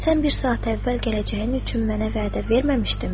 Sən bir saat əvvəl gələcəyin üçün mənə vədə verməmişdinmi?